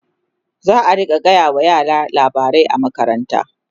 zaa rinka gaya wa yara labarai a makaranta